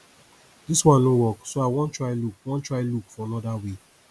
dis one no work so i wan try look wan try look for another way